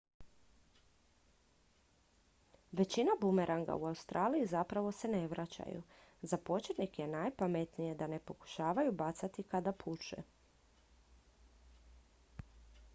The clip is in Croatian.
većina bumeranga u australiji zapravo se ne vraćaju za početnike je najpametnije da ne pokušavaju bacati kada puše